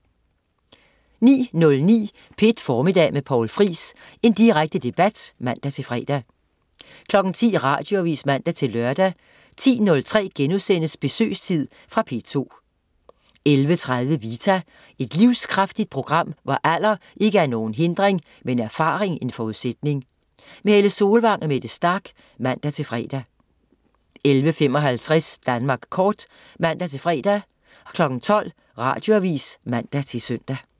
09.09 P1 Formiddag med Poul Friis. Direkte debat (man-fre) 10.00 Radioavis (man-lør) 10.03 Besøgstid.* Fra P2 11.30 Vita. Et livskraftigt program, hvor alder ikke er nogen hindring, men erfaring en forudsætning. Helle Solvang og Mette Starch (man-fre) 11.55 Danmark kort (man-fre) 12.00 Radioavis (man-søn)